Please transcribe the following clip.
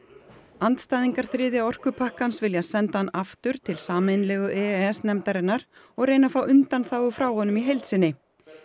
andstæðingar þriðja orkupakkans vilja senda hann aftur til sameiginlegu e s nefndarinnar og reyna að fá undanþágu frá honum í heild sinni